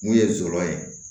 Mun ye zɔrɔ ye